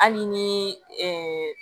Hali ni